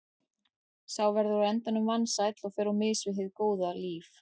Sá verður á endanum vansæll og fer á mis við hið góða líf.